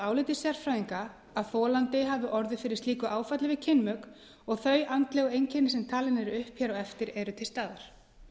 áliti sérfræðinga að þolandi hafi orðið fyrir slíku áfalli við kynmök og þau andlegu einkenni sem talin eru upp hér á eftir eru til staðar